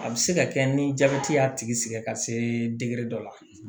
A bɛ se ka kɛ ni jabɛti y'a tigi sɛgɛn ka se dɔ la